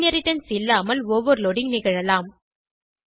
inheritance இல்லாமல் overloading நிகழலாம்